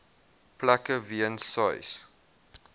plekke weens sois